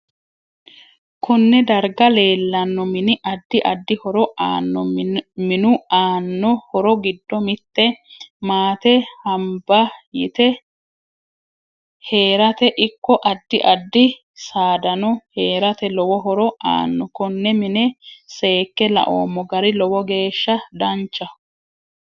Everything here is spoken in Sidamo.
Konne darga leelanno mini addi addi horo aanno minu aanno horo giddo mitte maate hanbba yite heerate ikko addi addi saadanno heerate lowo horo aaanno konne mine seeke laoomo gari lowo geesha danchaho